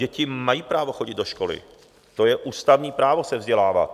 Děti mají právo chodit do školy, to je ústavní právo se vzdělávat.